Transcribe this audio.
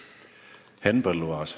Henn Põlluaas.